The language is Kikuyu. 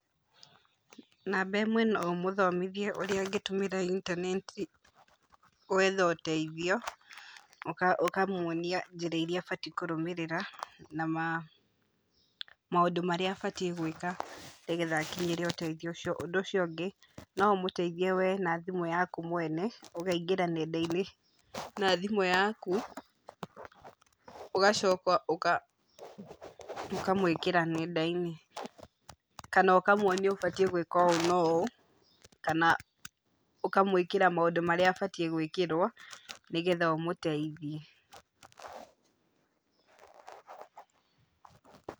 Namba ĩmwe no ũmũthomithie ũrĩa angĩtũmĩra intaneti gwetha ũteithio, uka ũkamũonia njĩra iria abatiĩ kũrũmĩrĩra na maũndũ marĩa abatiĩ gũĩka nĩgetha akinyĩre ũteithio ũcio. Ũndũ ũcio ũngĩ, no ũmũteithie we na thimũ yaku mwene, ũkaingĩra nenda-inĩ na thimũ yaku, ũgacoka ũka ũkamwĩkĩra nenda-inĩ, kana ũkamuonia ũbatiĩ gũĩka ũũ na ũũ, kana ũkamũĩkĩra maũndũ marĩa abatiĩ gũĩkĩrwo nĩgetha ũmũteithie.